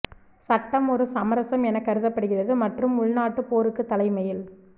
சட்டம் ஒரு சமரசம் என கருதப்படுகிறது மற்றும் உள்நாட்டு போருக்கு தலைமையில்